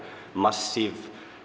massív